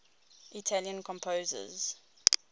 italian composers